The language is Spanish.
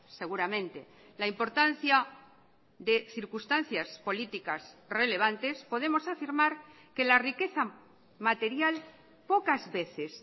seguramente la importancia de circunstancias políticas relevantes podemos afirmar que la riqueza material pocas veces